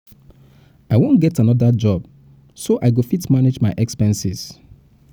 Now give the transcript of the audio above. i wan get another job so i go fit manage my expenses